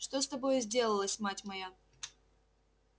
что с тобою сделалось мать моя